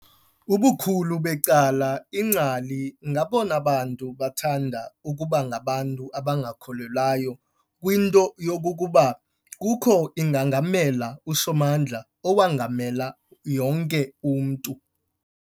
Ubukhulu becala iingcali ngabona bantu bathanda ukuba ngabantu abangakholelwayo kwinto yokokuba kukho ingangamela usomandla owongamela yonke umntu.